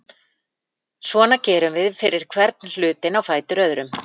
Svona gerum við fyrir hvern hlutinn á fætur öðrum.